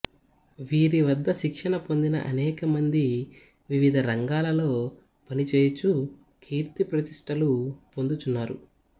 వీరివద్ద శిక్షణ పొందిన అనేకమంది వివిధ రంగాలలో పనిచేయుచూ కీర్తిప్రతిష్ఠలు పొందుచున్నారు